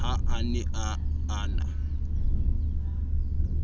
ha a ne a na